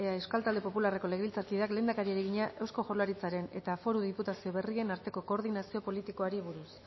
euskal talde popularreko legebiltzarkideak lehendakariari egina eusko jaurlaritzaren eta foru diputazio berrien arteko koordinazioari buruz